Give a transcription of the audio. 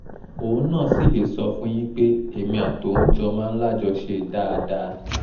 òun náà sì lè sọ fún un yín pé èmi àtòun jọ máa ń lájọṣe dáadáa